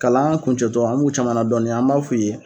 Kalan kuncɛtɔ an m'u caman ladɔɔnin an m'a f'u ye